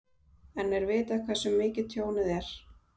En er vitað hversu mikið tjónið er?